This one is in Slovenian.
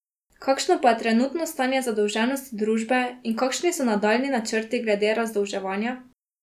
Kakšno pa je trenutno stanje zadolženosti družbe in kakšni so nadaljnji načrti glede razdolževanja?